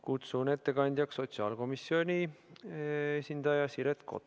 Kutsun ettekandjaks sotsiaalkomisjoni esindaja Siret Kotka.